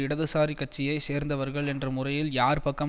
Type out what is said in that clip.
இடதுசாரிக்கட்சியை சேர்ந்தவர்கள் என்ற முறையில் யார் பக்கம்